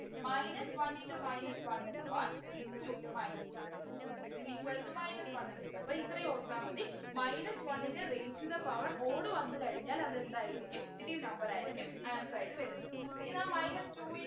Minus one into minus one is one into minus one is equal to minus one എന്നു കിട്ടും അപ്പൊ ഇത്രേം ഓർത്താൽ മതി minus one ൻ്റെ raised to the power odd വന്ന് കഴിഞ്ഞാൽ അതെന്തായിരിക്കും negative number ആയിരിക്കും answer ആയിട്ട് വരുന്നത് ഇതാ minus two